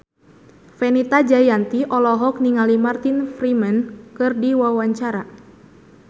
Fenita Jayanti olohok ningali Martin Freeman keur diwawancara